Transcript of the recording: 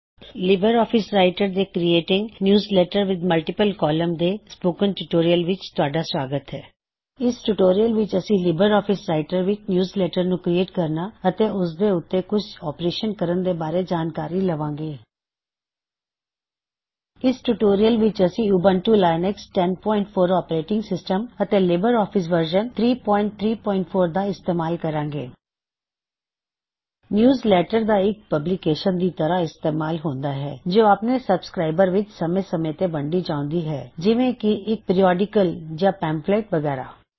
Libre Office Writer Libre Office Writer ਦੇ creating newsletter with multiple columns ਦੇ spoken tutorial ਵਿੱਚ ਆਪਦਾ ਸੁਆਗਤ ਹੈ ਇਸ ਟਿਊਟੋਰਿਯਲ ਵਿੱਚ ਅਸੀ ਲਿਬਰ ਆਫਿਸ ਰਾਇਟਰ ਵਿੱਚ ਨਿਯੂਜਲੈੱਟਰ ਨੂੰ ਕ੍ਰੀਏਟ ਕਰਨਾ ਅਤੇ ਉਸ ਤੇ ਉੱਤੇ ਕੁਛ ਆਪਰੇਸ਼ਨਜ਼ ਕਰਨ ਦੇ ਬਾਰੇ ਜਾਨ ਕਾਰੀ ਲਵਾਂ ਗੇ ਇਸ ਟਿਊਟੋਰਿਯਲ ਵਿੱਚ ਅਸੀ ਉਬੰਟੂ ਲਿਨਕਸ੍ਹ 1004 ੳਪੇਰਾਟਿੰਗ ਸਿਸਟਮ ਅਤੇ ਲਿਬਰ ਆਫਿਸ ਵਰਜ਼ਨ 334 ਦਾ ਇਸਤੇਮਾਲ ਕਰਾਂਗੇ ਨਿਯੂਜ਼ਲੈੱਟਰ ਦਾ ਇਕ ਪਬਲੀਕੇਸ਼ਨ ਦੀ ਤਰ੍ਹਾ ਇਸਤੇਮਾਲ ਹੁੰਦਾ ਹੈ ਜੋ ਆਪਣੇ ਸਬਸਕ੍ਰਾਇਬਰਜ਼ ਵਿੱਚ ਸਮੇ ਸਮੇ ਤੇ ਵੰਡੀ ਜਾਉਂਦੀ ਹੈ ਜਿਵੇਂ ਕੀ ਇਕ ਪਿਰਿਔਡਿਕਲ ਜਾਂ ਪੈਮਫ਼ਲੇਟ ਵਗੈਰਾ